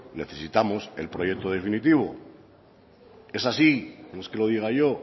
necesitamos el proyecto definitivo es así no es que lo diga yo